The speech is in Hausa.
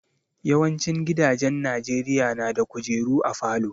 Yawancin gidajen Najeriya na da kujeru a falo